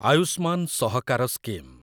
Ayushman Sahakar scheme